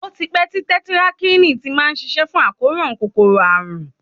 Ó ti pẹ́ tí tẹtirakílìn ti má ń ṣiṣẹ́ fún àkóràn kòkòrò àrùn.